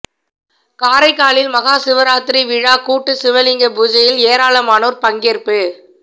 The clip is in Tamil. காரைக்காலில் மகா சிவராத்திரி விழா கூட்டு சிவலிங்க பூஜையில் ஏராளமானோர் பங்கேற்பு